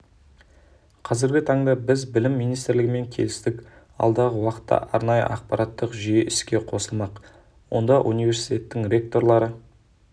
қазіргі таңда біз білім министрілігімен келістік алдағы уақытта арнайы ақпараттық жүйе іске қосылмақ онда университет ректорлары